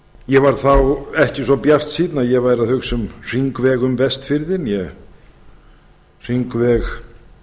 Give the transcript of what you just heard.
ég var þá ekki svo bjartsýnn að ég væri að hugsa um hringveg um vestfirði né hringveg